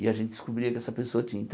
E a gente descobria que essa pessoa tinha.